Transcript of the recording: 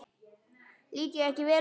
Lít ég ekki vel út?